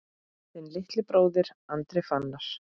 Þinn litli bróðir, Andri Fannar.